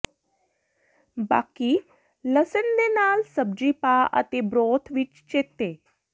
ਬਾਕੀ ਲਸਣ ਦੇ ਨਾਲ ਸਬਜ਼ੀ ਪਾ ਅਤੇ ਬਰੋਥ ਵਿੱਚ ਚੇਤੇ